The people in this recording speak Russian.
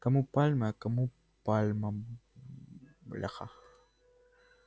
кому пальмы а кому пальма бляха